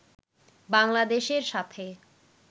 বাংলাদেশের সাথে